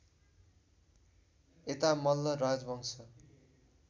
यता मल्ल राजवंश